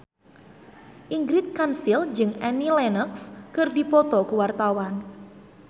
Ingrid Kansil jeung Annie Lenox keur dipoto ku wartawan